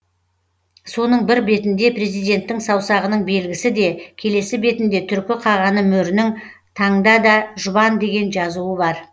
соның бір бетінде президенттің саусағының белгісі де келесі бетінде түркі қағаны мөрінің таңда да жұбан деген жазуы бар